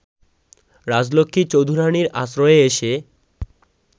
রাজলক্ষ্মী চৌধুরানীর আশ্রয়ে এসে